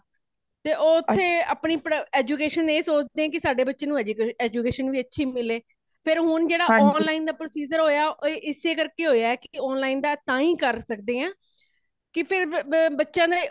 ਤੇ ਓਥੇ ਅਪਣੀ education ਇਹ ਸੋਚਦੇ ਹੈ ਕੀ ਸਾਡੇ ਬੱਚੇ ਨੂੰ education ਅੱਛੀ ਮਿਲੇ ਫ਼ੇਰ ਹੋਣ ਜੇੜਾ online ਦਾ procedure ਹੋਈਆਂ ਉਹ ਇਸੇ ਕਰ ਕੇ ਹੋਇਆ ਤੇ online ਅਸੀ ਤਾਇ ਕਰ ਸੱਕਦੇ ਹਾਂ ਕੇ ਫਿਰ ਬੱਚਿਆਂ ਨੇ